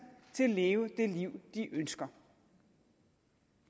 til at leve det liv de ønsker